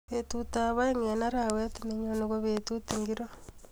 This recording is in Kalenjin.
Betut ab aeng eng arawet nenyone ko betut ingiro